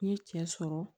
N ye cɛ sɔrɔ